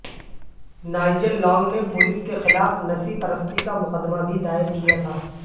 Nigel Long نے police کے خلاف نسی پرستی کا مقدمہ بھی دائر کیا تھا